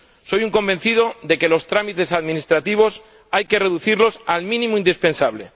Soy un convencido de que los trámites administrativos hay que reducirlos al mínimo indispensable.